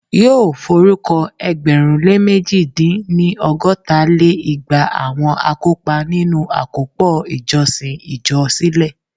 Yóò forúkọ ẹgbẹ̀rún lé mẹ̀ji dín-ní- ọgọ́ta lé igba àwọn akópa nínu àkópọ̀ ìjọsìn ìjọ sílẹ̀